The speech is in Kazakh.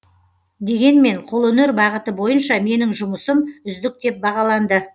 дегенмен қолөнер бағыты бойынша менің жұмысым үздік деп бағаланды